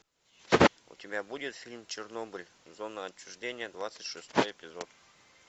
у тебя будет фильм чернобыль зона отчуждения двадцать шестой эпизод